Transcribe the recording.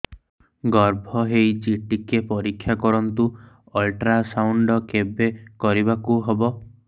ଗର୍ଭ ହେଇଚି ଟିକେ ପରିକ୍ଷା କରନ୍ତୁ ଅଲଟ୍ରାସାଉଣ୍ଡ କେବେ କରିବାକୁ ହବ